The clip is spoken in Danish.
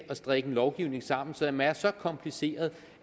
at strikke en lovgivning sammen som er så kompliceret